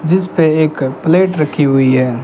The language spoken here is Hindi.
जिस पे एक प्लेट रखी हुई है।